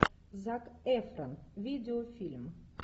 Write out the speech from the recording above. зак эфрон видеофильм